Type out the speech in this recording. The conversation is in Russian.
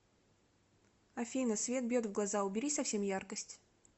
афина свет бьет в глаза убери совсем яркость